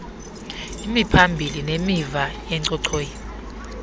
imiphambili nemiva yenchochoyi